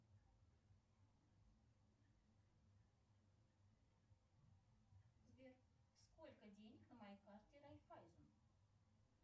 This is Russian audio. сбер сколько денег на моей карте райфайзен